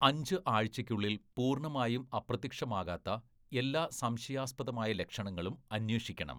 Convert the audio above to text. " അഞ്ച്‌ ആഴ്ചയ്ക്കുള്ളിൽ പൂർണ്ണമായും അപ്രത്യക്ഷമാകാത്ത എല്ലാ സംശയാസ്പദമായ ലക്ഷണങ്ങളും അന്വേഷിക്കണം."